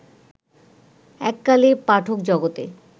এক কালে পাঠকজগতে